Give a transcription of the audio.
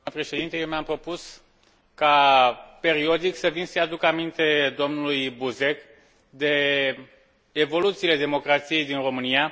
Eu mi am propus ca, periodic, să vin să îi aduc aminte domnului Buzek de evoluțiile democrației din România.